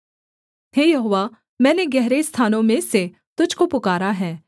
हे यहोवा मैंने गहरे स्थानों में से तुझको पुकारा है